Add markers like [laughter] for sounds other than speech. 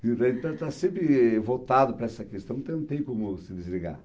[unintelligible] Então, está sempre voltado para essa questão, então não tem como se desligar.